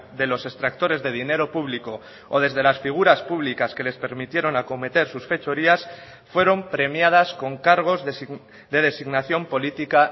de los extractores de dinero público o desde las figuras públicas que les permitieron acometer sus fechorías fueron premiadas con cargos de designación política